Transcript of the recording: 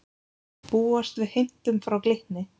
Búast við heimtum frá Glitni